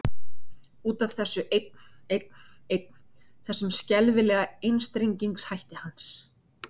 Út af þessu einn, einn, einn, þessum skelfilega einstrengingshætti hans.